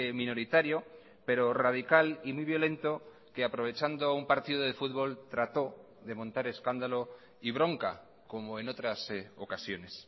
minoritario pero radical y muy violento que aprovechando un partido de fútbol trató de montar escándalo y bronca como en otras ocasiones